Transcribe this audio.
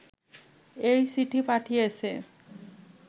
এই চিঠি পাঠিয়েছে